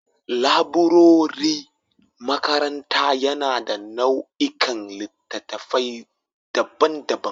Laburaren makaranta yana da nau'ikan littattafai daban-daban